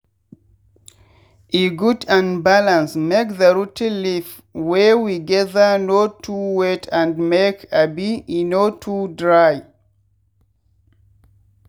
e good and balance make the rot ten leaf wey we gather no too wet and make abi e no too dry.